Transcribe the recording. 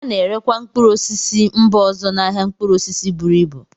A na-erekwa mkpụrụ osisi si mba ọzọ n'ahịa mkpụrụ osisi buru ịbu